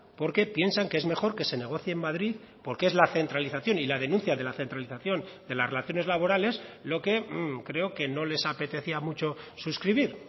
porque piensan que es mejor que se negocie en madrid porque es la centralización y la denuncia de la centralización de las relaciones laborales lo que creo que no les apetecía mucho suscribir